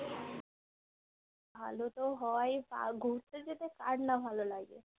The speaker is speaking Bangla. ভালো তো হয় বা ঘুরতে যেতে কার না ভালো লাগে